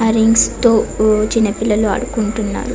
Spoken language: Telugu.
ఆ రింగ్స్ తో చిన్న పిల్లలు ఆడుకుంటున్నారు.